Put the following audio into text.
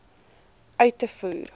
uit te voer